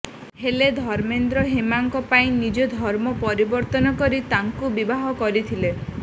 ହେଲେ ଧର୍ମେନ୍ଦ୍ର ହେମାଙ୍କ ପାଇଁ ନିଜ ଧର୍ମ ପରିବର୍ତ୍ତନ କରି ତାଙ୍କୁ ବିବାହ କରିଥିଲେ